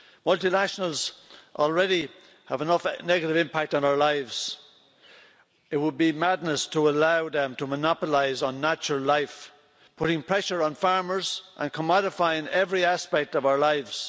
Multinationals already have enough negative impact on our lives. It would be madness to allow them to monopolise natural life, putting pressure on farmers and commodifying every aspect of our lives.